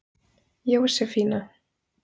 Jósefína